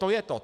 To je to.